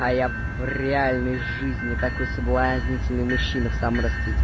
а я в реальной жизни такой соблазнительный мужчина в самом расцвете